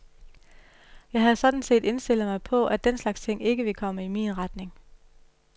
Jeg havde sådan set indstillet mig på at den slags ting ikke ville komme i min retning.